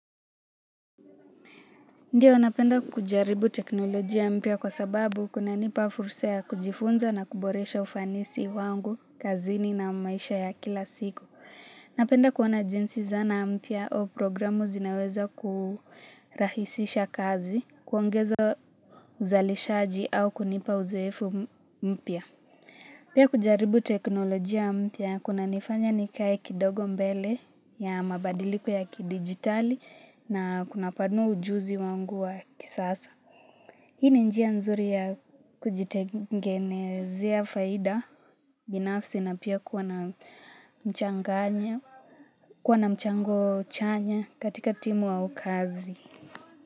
Ndiyo napenda kujaribu teknolojia mpya kwa sababu kunanipa fursa ya kujifunza na kuboresha ufanisi wangu, kazini na maisha ya kila siku. Napenda kuona jinsi zana mpya au programu zinaweza kurahisisha kazi, kuongeza uzalishaji au kunipa uzoefu mpya. Pia kujaribu teknolojia mpya kunanifanya nikae kidogo mbele ya mabadiliko ya kidigitali na kunapanua ujuzi wangu wa kisasa. Hii ni njia nzuri ya kujitengenezea faida, binafsi na pia kuwa na mchanganya, kuwa na mchango chanya katika timu au kazi.